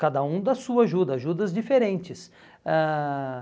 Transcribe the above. cada um da sua ajuda, ajudas diferentes. Ãh